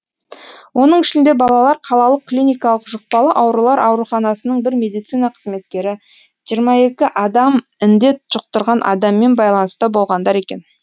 оның ішінде балалар қалалық клиникалық жұқпалы аурулар ауруханасының бір медицина қызметкері жиырма екі адам індет жұқтырған адаммен байланыста болғандар екен